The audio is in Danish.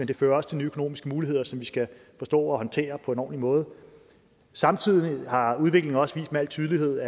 det fører også til nye økonomiske muligheder som vi skal forstå at håndtere på en ordentlig måde samtidig har udviklingen også med al tydelighed